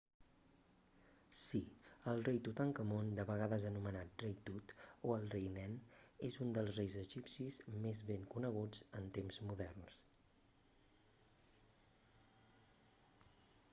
sí el rei tutankamon de vegades anomenat rei tut o el rei nen és un dels reis egipcis més ben coneguts en temps moderns